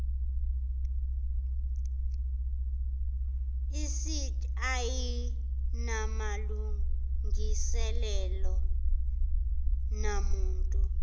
icd ayinamalungiselelo namuntu